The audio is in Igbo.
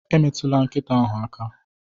Emetụla nkịta ahụ aka!